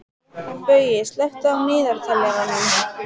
Baui, slökktu á niðurteljaranum.